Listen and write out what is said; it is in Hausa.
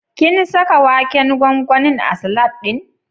Kin saka waken gwangwanin a salad ɗin?